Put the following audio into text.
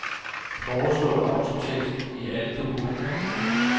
Foreslå autotekst i alle dokumenter.